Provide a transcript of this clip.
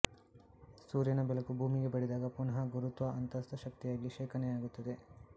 ಸೂರ್ಯನ ಬೆಳಕು ಭೂಮಿಗೆ ಬಡಿದಾಗ ಪುನಃ ಗುರುತ್ವ ಅಂತಸ್ಥ ಶಕ್ತಿಯಾಗಿ ಶೇಖಣೆಯಾಗುತ್ತದೆ